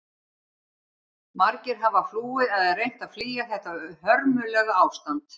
Margir hafa flúið eða reynt að flýja þetta hörmulega ástand.